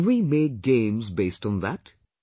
Can we make games based on that